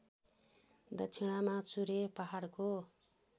दक्षिणामा चुरे पहाडको